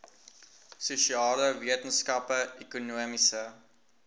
sosiale wetenskappe ekonomiese